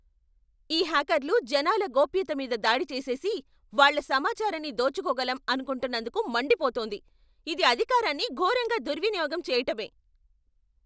ఈ హ్యాకర్లు జనాల గోప్యతమీద దాడి చేసేసి, వాళ్ల సమాచారాన్ని దోచుకోగలం అనుకుంటున్నందుకు మండిపోతోంది. ఇది అధికారాన్ని ఘోరంగా దుర్వినియోగం చెయ్యటమే.